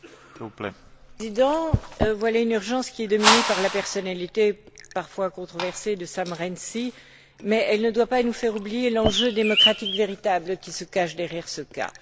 Monsieur le Président, voilà une urgence qui est dominée par la personnalité parfois controversée de Sam Rainsy, mais elle ne doit pas nous faire oublier l'enjeu démocratique véritable qui se cache derrière ce cas.